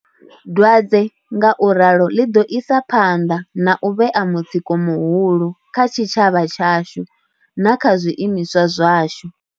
Dwadze ngauralo ḽi ḓo isa phanḓa na u vhea mutsiko muhulu kha tshitshavha tshashu na kha zwiimiswa zwashu.